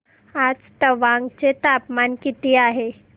आज तवांग चे तापमान किती आहे